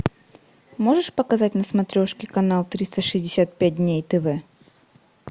можешь показать на смотрешке канал триста шестьдесят пять дней тв